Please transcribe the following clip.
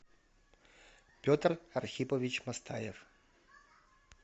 петр архипович мастаев